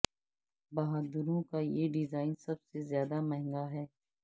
بہادروں کا یہ ڈیزائن سب سے زیادہ مہنگا ہے